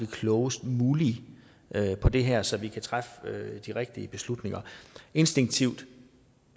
klogest mulige på det her så vi kan træffe de rigtige beslutninger instinktivt